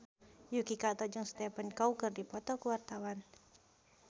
Yuki Kato jeung Stephen Chow keur dipoto ku wartawan